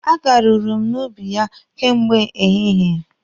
A garuru m n'ubi ya kemgbe ehihie.